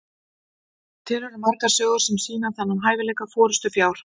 til eru margar sögur sem sýna þennan hæfileika forystufjár